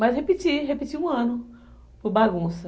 Mas repeti, repeti um ano por bagunça.